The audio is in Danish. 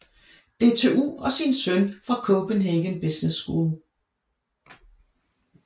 DTU og sin søn fra Copenhagen Business School